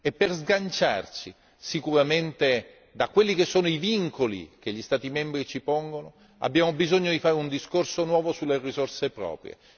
Per sganciarci sicuramente dai vincoli che gli Stati membri ci pongono, abbiamo bisogno di fare un discorso nuovo sulle risorse proprie.